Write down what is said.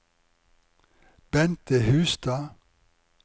Bente Hustad